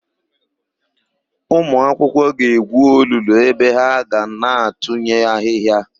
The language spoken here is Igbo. Ụmụakwụkwọ ga-egwu olulu ebe ha ga na-atụnye ahịhịa.